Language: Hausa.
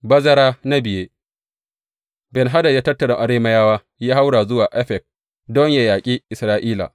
Bazara na biye Ben Hadad ya tattara Arameyawa, ya haura zuwa Afek don yă yaƙi Isra’ila.